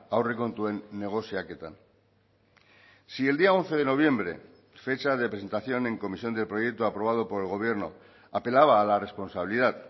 aurrekontuen negoziaketan si el día once de noviembre fecha de presentación en comisión del proyecto aprobado por el gobierno apelaba a la responsabilidad